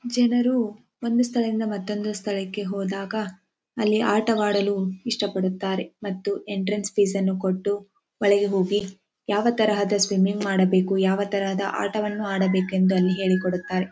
ಜನರು ಒಂದು ಸ್ಥಳದಿಂದ ಮತ್ತೊಂದು ಸ್ಥಳಕ್ಕೆ ಹೋದಾಗ ಅಲ್ಲಿ ಆಟ ಆಡಲು ಇಷ್ಟ ಪಡುತ್ತಾರೆ ಮತ್ತು ಎಂಟ್ರನ್ಸ್ ಫೀಸ್ ಅನ್ನು ಕೊಟ್ಟು ಒಳಗೆ ಹೋಗಿ ಯಾವ ತರಹ ಸ್ವಿಮ್ಮಿಂಗ್ ಮಾಡಬೇಕು ಯಾವ ತರಹ ಆಟ ಆಡಬೇಕೆಂದು ಅಲ್ಲಿ ಹೇಳಿಕೊಡುತ್ತಾರೆ.